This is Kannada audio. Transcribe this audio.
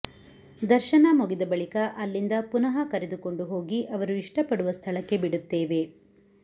ದರ್ಶನ ಮುಗಿದ ಬಳಿಕ ಅಲ್ಲಿಂದ ಪುನಃ ಕರೆದುಕೊಂಡು ಹೋಗಿ ಅವರು ಇಷ್ಟಪಡುವ ಸ್ಥಳಕ್ಕೆ ಬಿಡುತ್ತೇವೆ